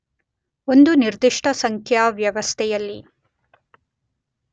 ಒಂದು ನಿರ್ದಿಷ್ಟ ಸಂಖ್ಯಾ ವ್ಯವಸ್ಥೆಯಲ್ಲಿ